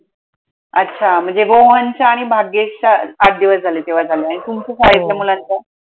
अच्छा रोहनच्या आणि भाग्येशच्या आठ दिवस झाले तेव्हा झाल्या चाळीतल्या मुलांच्या.